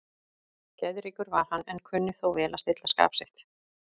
Geðríkur var hann, en kunni þó vel að stilla skap sitt.